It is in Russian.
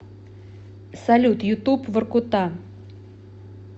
салют ютуб воркута